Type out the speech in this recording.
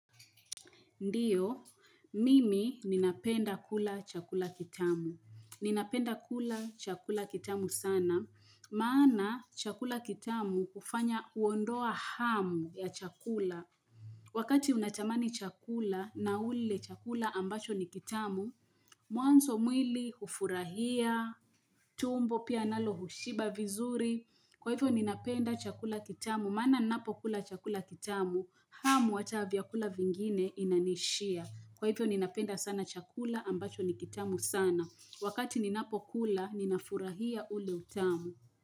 Ndiyo, mimi ninapenda kula chakula kitamu. Ninapenda kula chakula kitamu sana, maana chakula kitamu hufanya huondoa hamu ya chakula. Wakati unatamani chakula na ule chakula ambacho ni kitamu, mwanzo mwili hufurahia, tumbo pia nalo hushiba vizuri. Kwa hivyo ninapenda chakula kitamu, maana ninapo kula chakula kitamu, hamu ata vya kula vingine inanishia. Kwa hivyo ninapenda sana chakula ambacho nikitamu sana Wakati ninapo kula ninafurahia ule utamu.